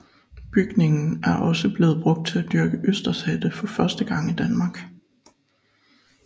Bygningen er også blevet brugt til at dyrke østershatte for første gang i Danmark